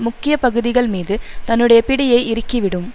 முக்கிய பகுதிகள் மீது தன்னுடைய பிடியை இறுக்கி விடும்